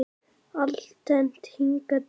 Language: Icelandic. Alltént hingað til.